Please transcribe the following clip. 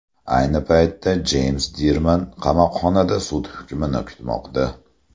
Ayni paytda Jeyms Dirman qamoqxonada sud hukmini kutmoqda.